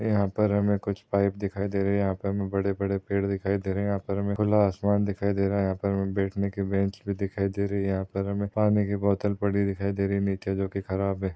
यहा पर हमे कुछ पाइप दिखाई दे रहे है यहा पर हमे बड़े बड़े पेड़ दिखाई दे रहे है यहा पर हमे खुला आसमान दिखाई दे रहा यहा पर हमे बैठन के बेंच भी दिखाई दे रहे यहा पर हमे पानी की बोटल पड़ी दिखाई दे रही है नीचे जो की ख़राब है।